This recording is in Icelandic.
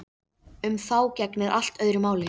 Um þá gegnir allt öðru máli.